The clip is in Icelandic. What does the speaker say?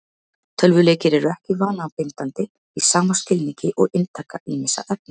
Tölvuleikir eru ekki vanabindandi í sama skilningi og inntaka ýmissa efna.